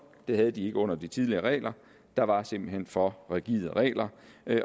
det havde de ikke under de tidligere regler der var simpelt hen for rigide regler